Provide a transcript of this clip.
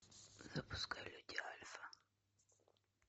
запускай люди альфа